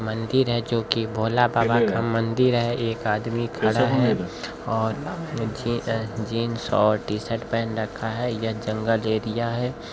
मंदिर है जो की भोले बाबा का मंदिर है एक आदमी खड़ा है और जी अ जीन्स और टीशर्ट पहन रखा है यह जंगल एरिया है।